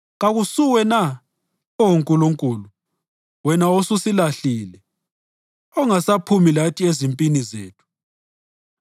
Kakusuwe na, Oh Nkulunkulu, wena osusilahlile, ongasaphumi lathi ezimpini zethu?